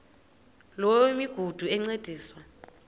loo migudu encediswa